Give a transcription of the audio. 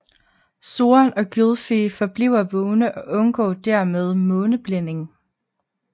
Soren og Gylfie forbliver vågne og undgår dermed måneblændning